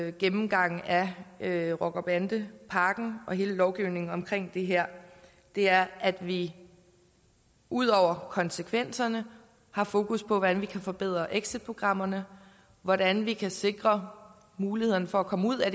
en gennemgang af af rocker bande pakken og hele lovgivningen omkring det her er at vi ud over konsekvenserne har fokus på hvordan vi kan forbedre exitprogrammerne hvordan vi kan sikre mulighederne for at komme ud af